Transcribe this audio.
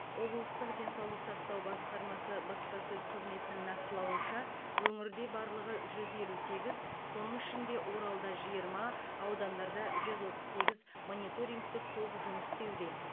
облыстық денсаулық сақтау басқармасы баспасөз қызметінің нақтылауынша өңірде барлығы жүз елу сегіз соның ішінде оралда жиырма аудандарда жүз отыз сегіз мониторингтік топ жұмыс істеуде